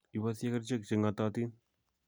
Iboisyee kerichek che ng'atootin.